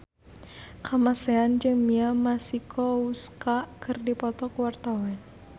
Kamasean jeung Mia Masikowska keur dipoto ku wartawan